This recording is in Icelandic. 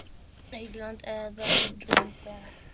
England eða Ítalía?